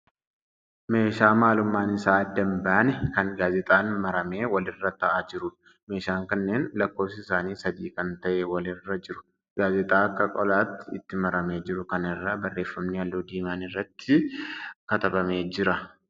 Meeshaa maalummaan isaa adda hin baanee kan gaazixaan maramee wal irra ta'aa jiruudha. Meeshaan kunneen lakkoofsi isaanii sadii kan ta'e wal irra jiru. Gaazixaa akka qolaatti itti maramee jiru kana irra barreeffamni halluu diimaan irratti katabamee jia.